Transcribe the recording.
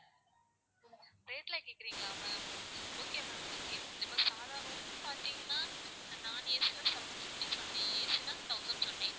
rate ல கேக்குறீங்களா ma'am okay ma'am okay இப்போ சாதா room பாத்திங்கன்னா non AC னா seven fifty சொன்னேன் AC னா thousand சொன்னேன்.